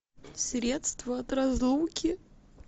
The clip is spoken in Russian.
средство от разлуки